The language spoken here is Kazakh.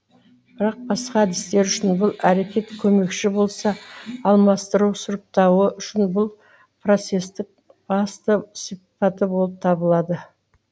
бірақ басқа әдістер үшін бұл әрекет көмекші болса алмастыру сұрыптауы үшін бұл процессті басты сипаты болып табылады